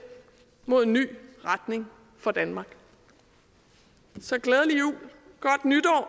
mod en ny retning for danmark så glædelig jul